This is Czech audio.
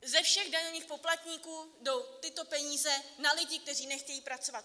Ze všech daňových poplatníků jdou tyto peníze na lidi, kteří nechtějí pracovat.